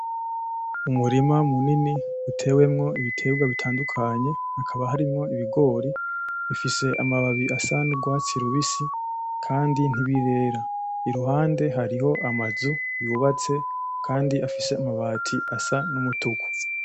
Umurima munini uteyemwo ibiterwa butandukanye hakaba harimwo ibigori, bifise amababi asa nurwatsi rubisi Kandi ntibirera , iruhande hariho amazu yubatse Kandi afise amabati asa numutuku .